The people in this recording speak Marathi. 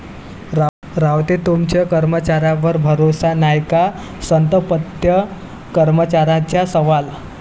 रावते तुमचा कर्मचाऱ्यांवर भरोसा नाय का?,संतप्त कर्मचाऱ्यांचा सवाल